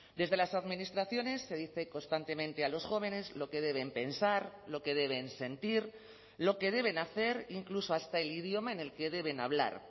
desde las administraciones se dice constantemente a los jóvenes lo que deben pensar lo que deben sentir lo que deben hacer incluso hasta el idioma en el que deben hablar